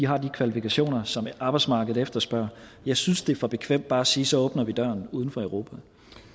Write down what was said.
har de kvalifikationer som arbejdsmarkedet efterspørger jeg synes det er for bekvemt bare at sige så åbner vi døren udenfor europa